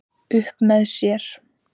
Upp með sér